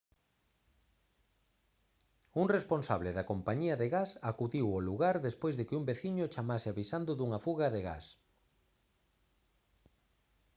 un responsable da compañía de gas acudiu ao lugar despois de que un veciño chamase avisando dunha fuga de gas